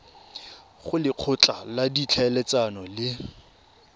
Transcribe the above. go lekgotla la ditlhaeletsano le